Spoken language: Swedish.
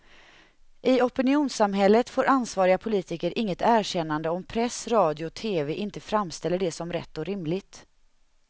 I opinionssamhället får ansvariga politiker inget erkännande om press, radio och tv inte framställer det som rätt och rimligt.